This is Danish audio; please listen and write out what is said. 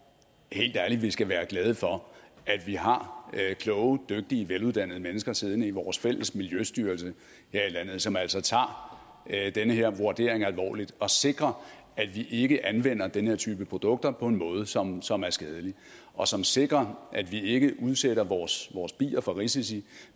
helt ærligt vi skal være glade for at vi har kloge dygtige veluddannede mennesker siddende i vores fælles miljøstyrelse her i landet som altså tager den her vurdering alvorligt og sikrer at vi ikke anvender den her type produkter på en måde som som er skadelig og som sikrer at vi ikke vi udsætter vores bier for risici